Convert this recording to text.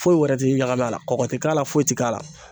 Foyi wɛrɛ ti ɲagami a la, kɔkɔ te k'a la foyi ti k'a la.